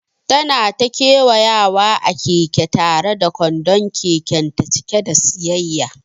Tana ta kewayawa a keke tare da kwandon kekenta cike da siyayya.